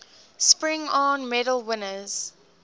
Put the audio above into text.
spingarn medal winners